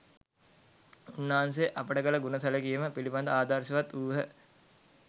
උන්වහන්සේ අපට කළ ගුණ සැලකීම පිළිබඳ ආදර්ශවත් වූහ